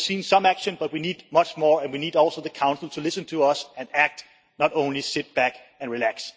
we have seen some action but we need much more, and we need also the Council to listen to us and act, not only sit back and relax.